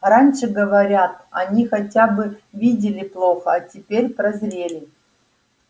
раньше говорят они хотя бы видели плохо а теперь прозрели